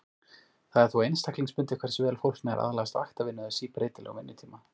Það er þó einstaklingsbundið hversu vel fólk nær að aðlagast vaktavinnu eða síbreytilegum vinnutíma.